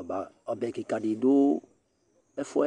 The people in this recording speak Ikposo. Ɔbɛ ƙɩƙa ɖɩ ɖʋ ɛfʋɛ,